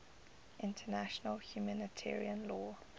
international humanitarian law